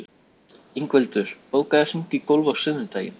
Ingveldur, bókaðu hring í golf á sunnudaginn.